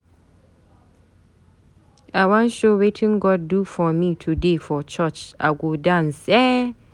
I wan show wetin God do for me today for church. I go dance eh